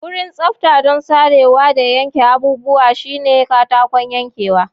Wurin tsafta don sarewa da yanke abubuwa shine katakon yankewa.